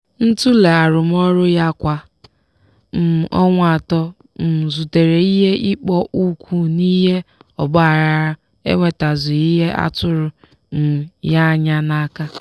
ntule arụmọrụ ya kwa um ọnwa atọ um zutere ihe ịkpọ ụkwụ n'ihi ogbaaghara enwetazughi ihe atụrụ um ya anya n'aka